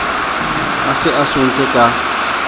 a se a swentse ka